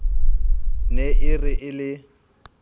ne e re e le